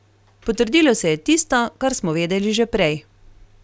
Potrdilo se je tisto, kar smo vedeli že prej.